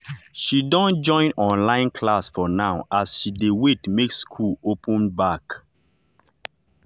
she don join online class for now as she dey wait make school open back.